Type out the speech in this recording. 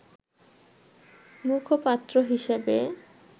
মুখপাত্র হিসেবে